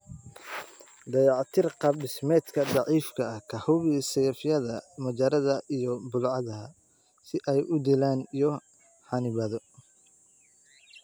Dayactir qaab dhismeedka daciifka ah, ka hubi saqafyadaada, majaaradada, iyo bullaacadaha si ay u dilaan iyo xannibaado.